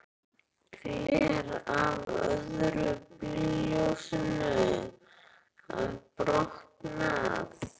Gler af öðru bílljósinu hafði brotnað.